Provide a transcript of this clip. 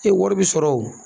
wari bɛ sɔrɔ o.